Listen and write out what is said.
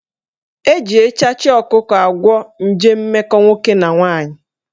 Eji echachị ọkụkọ agwọ nje mmekọ nwoke na nwaanyị